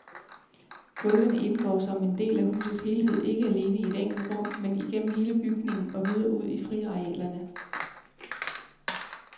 Gulvene indgår som en del af husets helhed, ikke alene i et enkelt rum, men igennem hele bygningen og videre ud i friarealerne.